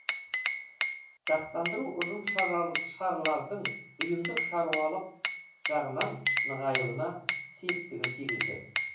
сақтандыру ұжымшарлардың ұйымдық шаруашылық жағынан нығаюына септігін тигізді